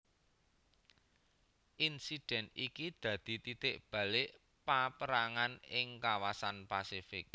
Insiden iki dadi titik balik paperangan ing kawasan Pasifik